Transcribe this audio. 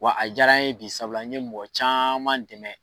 Wa a jara n ye bi sabula n ye mɔgɔ caman dɛmɛ.